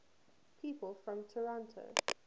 people from toronto